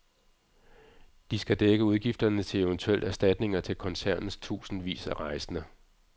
De skal dække udgifterne til eventuelt erstatninger til koncernens tusindvis af rejsende.